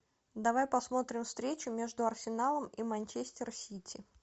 давай посмотрим встречу между арсеналом и манчестер сити